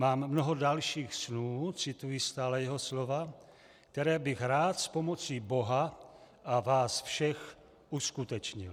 Mám mnoho dalších snů," cituji stále jeho slova, "které bych rád s pomocí Boha a vás všech uskutečnil."